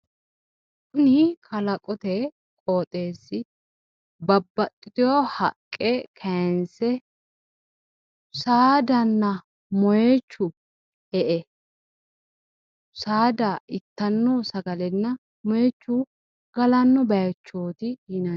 tini kalaqote qooxeessi babaxitino haqqe kayiinsse kayiinsse saadanna moyiichu e''e saada ittanno sagalenna moyiichu galanno bayiichooti.